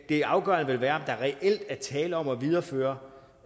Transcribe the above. det afgørende vil være om der reelt er tale om at videreføre